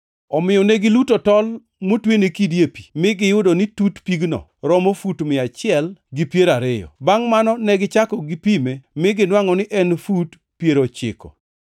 Omiyo ne giluto tol motwene kidi e pi, mi giyudo ni tut pigno romo fut mia achiel gi piero ariyo. Bangʼ mano negichako gipime mi ginwangʼo ni en fut piero ochiko.